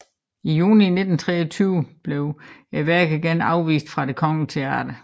I juni 1923 blev værket igen afvist fra Det kongelige Teater